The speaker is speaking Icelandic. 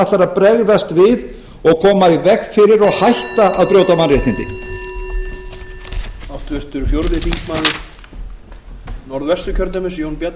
ætlar að bregðast við og koma í veg fyrir og hætta að brjóta mannréttindi